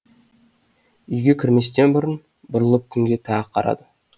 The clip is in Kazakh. үйге кірместен бұрын бұрылып күнге тағы қарады